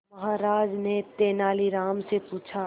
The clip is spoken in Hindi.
महाराज ने तेनालीराम से पूछा